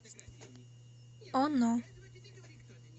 оно